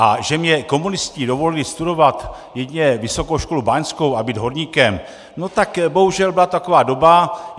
A že mně komunisté dovolili studovat jedině Vysokou školu báňskou a být horníkem, no tak bohužel byla taková doba.